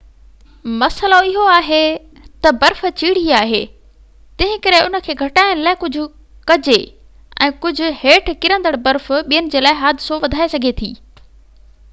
مسئلو اهو آهي تہ برف چيڙهي آهي تنهنڪري ان کي گهٽائڻ لاءِ ڪجهہ ڪجي ۽ ڪجهہ هيٺ ڪرندڙ برف ٻين جي لاءِ حادثو وڌائي سگهي ٿي